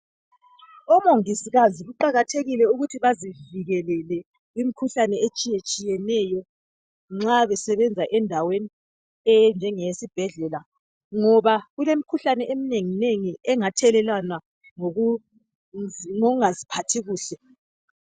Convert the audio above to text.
Omongikazi kuqakathekile ukuthi bazivikelele imikhuhlane etshiye tshiyeneyo nxa besebenza endaweni enjengeyesibhedlela ngoba kulemikhuhlane eminengi nengi engathelelwana ngokungaziphathi kuhle